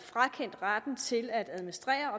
frakendt retten til at administrere